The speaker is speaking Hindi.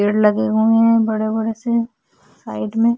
पेड़ लगे हुए है बड़े-बड़े से साइड में--